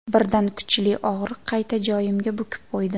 Birdan kuchli og‘riq qayta joyimga bukib qo‘ydi.